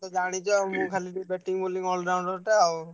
ମତେ ଜାଣିଚ ଆଉ ମୁଁ ଖାଲି batting bowling all-rounder ଟେ ଆଉ।